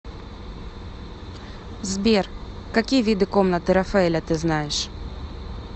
сбер какие виды комнаты рафаэля ты знаешь